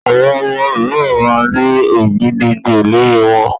Àwọn ọmọ mìíràn máa ń ní ògìdìgbó lórí wọn.